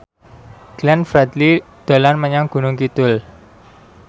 Glenn Fredly dolan menyang Gunung Kidul